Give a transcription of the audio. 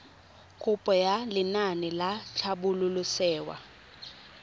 kopo ya lenaane la tlhabololosewa